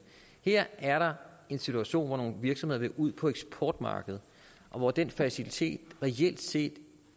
her er der en situation hvor nogle virksomheder vil ud på eksportmarkedet og hvor den facilitet reelt set